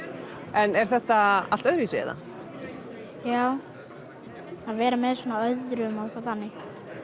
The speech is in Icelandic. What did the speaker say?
en er þetta allt öðruvísi eða já að vera með svona öðrum og eitthvað þannig